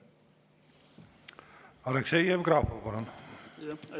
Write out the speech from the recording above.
Aleksei Jevgrafov, palun!